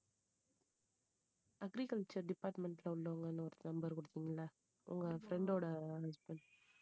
agriculture department ல உள்ளவங்கன்னு ஒரு number குடுத்தீங்கல்ல உங்க friend ஓட husband